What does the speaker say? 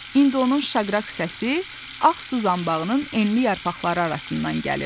İndi onun şaqraq səsi ağ suzanbağının enli yarpaqları arasından gəlirdi.